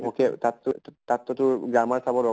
vocal তাত তাত টো তোৰ grammar চাব দৰ্কাৰ